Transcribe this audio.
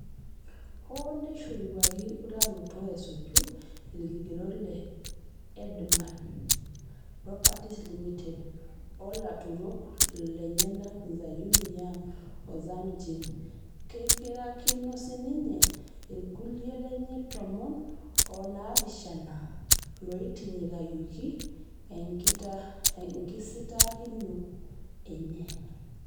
Hoo neishoruaki utaroto esuju ilikigerot le Erdemann Properties Ltd o lautarok lenyanak Zeyun Yang o Zhang Jing, keipirakino sininye ilkulia lenye tomon onaapishana looitinyikayioki enkisitaakino enye.